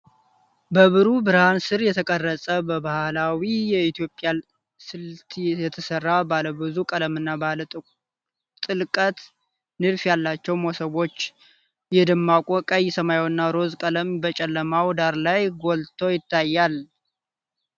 በብሩህ ብርሃን ስር የተቀረጸ፣ በባህላዊ የኢትዮጵያ ስልት የተሰሩ፣ ባለብዙ ቀለምና ባለ ጥልቀት ንድፍ ያላቸው መሶቦች ። የደማቁ ቀይ፣ ሰማያዊና ሮዝ ቀለማት በጨለማው ዳራ ላይ ጎልተው ይታያሉ።